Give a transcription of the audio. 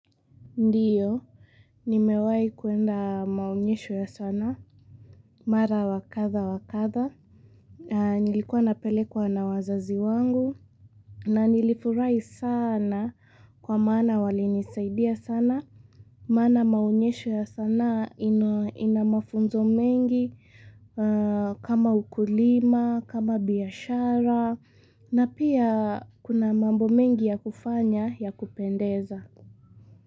Ndiyo, nimewai kuenda maonyesho ya sana, mara wa kadha wa kadha. Nilikuwa napelekwa na wazazi wangu, na nilifurai sana kwa maana walinisaidia sana. Maana maonyesho ya sanaa ina mafunzo mengi, kama ukulima, kama biashara, na pia kuna mambo mengi ya kufanya ya kupendeza.